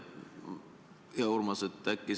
Hea Urmas!